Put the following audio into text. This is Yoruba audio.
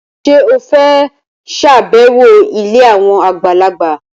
Ṣé o fẹ́ ṣàbẹ̀wọ̀ ilé àwọn àgbàlagbà?